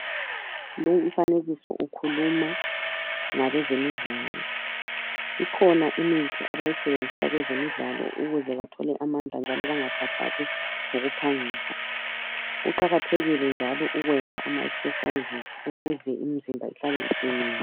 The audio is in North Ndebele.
Umfanekiso ukhuluma ngabezemidlalo. Ikhona imithi abayisebenzisa kwezemidlalo ukuze bathole amandla njalo bangakhathali ngokuphangisa. Kuqakathekile ukuzivoxavoxa ukuze imizimba ihlale iqinile.